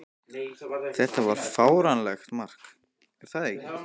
Þetta var fáránlegt mark, er það ekki?